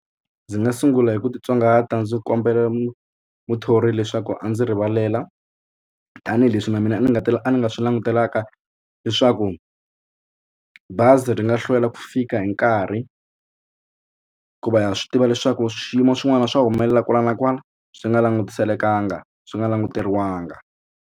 Ndzi nga sungula hi ku titsongahata ndzi kombela muthori leswaku a ndzi rivalela tanihileswi na mina ni nga ta la a ni nga swi langutelanga leswaku bazi ri nga hlwela ku fika hi nkarhi hikuva ha swi tiva leswaku swiyimo swin'wana swa humelela kwala na kwala swi nga langutiselekanga swi nga languteriwangi.